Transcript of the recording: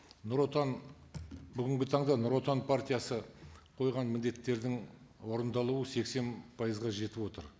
бүгінгі таңда нұротан партиясы қойған міндеттердің орындалуы сексен пайызға жетіп отыр